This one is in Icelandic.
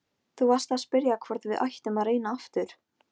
Þú varst að spyrja hvort við ættum að reyna aftur.